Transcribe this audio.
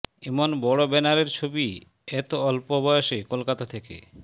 এমন বড় ব্যানারের ছবি এত অল্প বয়সে কলকাতা থেকে